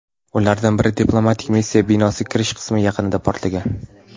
Ulardan biri diplomatik missiya binosi kirish qismi yaqinida portlagan.